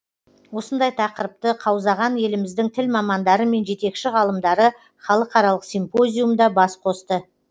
осындай тақырыпты қаузаған еліміздің тіл мамандары мен жетекші ғалымдары халықаралық симпозиумда бас қосты